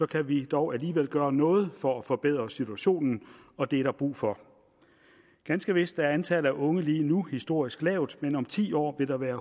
kan vi dog alligevel gøre noget for at forbedre situationen og det er der brug for ganske vist er antallet af unge lige nu historisk lavt men om ti år vil der være